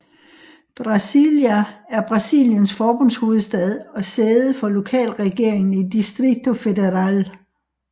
Brasília er Brasiliens forbundshovedstad og sæde for lokalregeringen i Distrito Federal